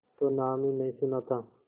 तो नाम ही नहीं सुना था